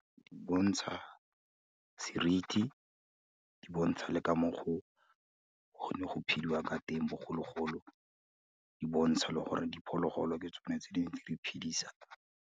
Di bontsha seriti, di bontsha le ka mo go ne go phediwa ka teng bogologolo, di botsha le gore diphologolo ke tsone tse ne re ntse re di iphidisa.